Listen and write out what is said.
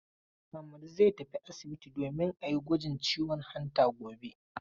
Ahmadu zai tafi asibiti domin a yi gwajin ciwon hanta gobe.